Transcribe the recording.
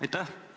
Aitäh!